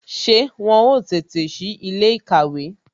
Ṣé wọn ó tètè si ilé ìkàwé